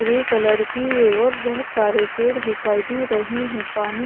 grey colour की है और बोहोत सारे पेड़ दिखाई दे रहे है पानी--